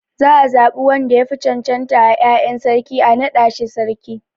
Za a zaɓi wanda yafi cancanta a 'ya'yan sarki a naɗa shi sarki.